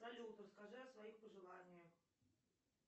салют расскажи о своих пожеланиях